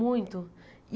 Muito.